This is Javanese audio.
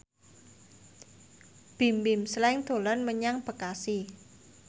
Bimbim Slank dolan menyang Bekasi